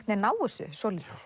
veginn ná þessu svolítið